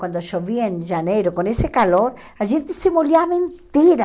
Quando chovia em janeiro, com esse calor, a gente se molhava inteira.